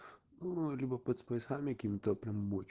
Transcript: ну либо под спайсами какими то прям оч